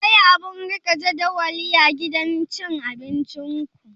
Akwai abun rike jadawali a gidan cin abinciku?